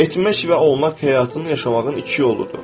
Etmək və olmaq həyatın yaşamağın iki yoludur.